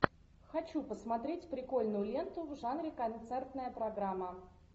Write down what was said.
хочу посмотреть прикольную ленту в жанре концертная программа